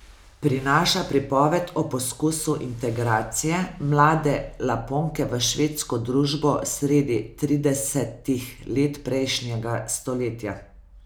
Prinaša pripoved o poskusu integracije mlade Laponke v švedsko družbo sredi tridesetih let prejšnjega stoletja.